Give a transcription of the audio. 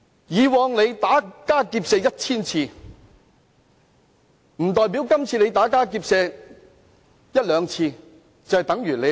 以往打家劫舍 1,000 次，並不代表今次打家劫舍一兩次就算沒有犯罪。